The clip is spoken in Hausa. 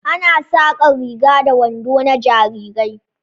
Ana saƙar riga da wando na jarirai